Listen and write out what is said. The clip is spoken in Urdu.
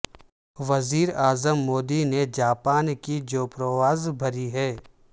وزیراعظم مودی نے جاپان کی جو پرواز بھری ہے